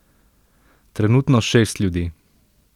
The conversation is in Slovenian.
Trenutno šest ljudi.